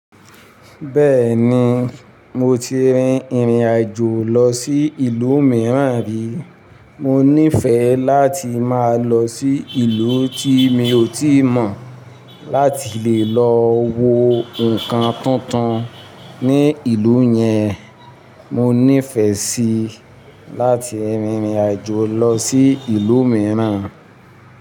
Bẹ́ẹ̀ni, mo ti rin ìrìn àjò lọ sí ìlú mìíràn rí. Mo nífẹẹ láti máa lọ sí ìlú tí mi ò tíì mọ̀ láti lè lọ wo nǹkan tuntun ní ìlú yẹn. Mo nífẹẹ síi láti rin ìrìn àjò lọ sí ìlú mìíràn.